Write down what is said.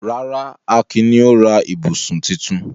Rárá, Akin ni ó ra ibùsùn tuntun.